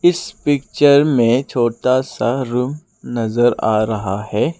इस पिक्चर में छोटा सा रूम नजर आ रहा है।